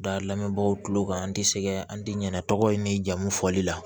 Da lamɛnbagaw tulo kan an tɛ sɛgɛn an ti ɲinɛ tɔgɔ in ni jamu fɔli la